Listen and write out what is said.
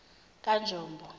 kanjombo